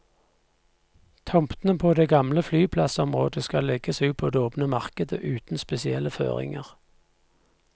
Tomtene på det gamle flyplassområdet skal legges ut på det åpne markedet uten spesielle føringer.